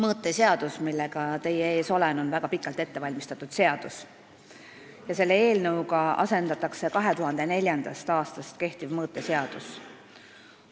Mõõteseaduse eelnõu, millega teie ees olen, on väga pikalt ette valmistatud ja sellega asendatakse 2004. aastast kehtiv mõõteseadus.